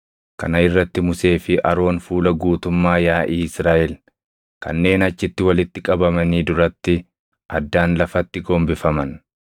Kana irratti Musee fi Aroon fuula guutummaa yaaʼii Israaʼel kanneen achitti walitti qabamanii duratti addaan lafatti gombifaman.